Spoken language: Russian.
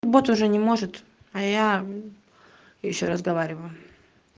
вот уже не может а я ещё разговариваю